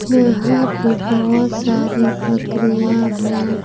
यहां पे बहुत सारे बकरियां हैं।